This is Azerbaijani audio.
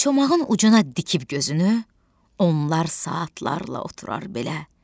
Çomağın ucuna dikib gözünü, onlar saatlarla oturur belə.